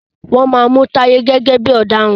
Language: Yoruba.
wón má Mú Taye gẹ́gẹ́ bí ọ̀daràn.